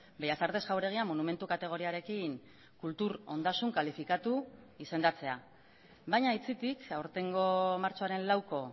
bellas artes jauregia monumentu kategoriarekin kultur ondasun kalifikatu izendatzea baina aitzitik aurtengo martxoaren lauko